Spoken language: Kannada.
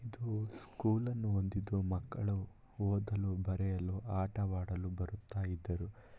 ಇದು ಸ್ಕೂಲ್‌ನ್ನು ಹೊಂದಿದ್ದು ಮಕ್ಕಳು ಓದಲು ಬರೆಯಲು ಆಟವಾಡಲು ಬರುತ್ತಾ ಇದ್ದರು.